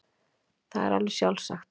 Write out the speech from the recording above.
Það er alveg sjálfsagt.